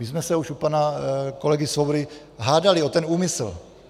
My jsme se už u pana kolegy Svobody hádali o ten úmysl.